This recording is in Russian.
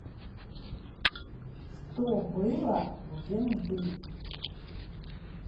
что было в венды